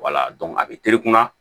a bɛ terekunna